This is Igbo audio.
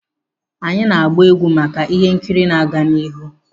Anyị na-gba egwu maka ihe nkiri na-aga n'ihu,.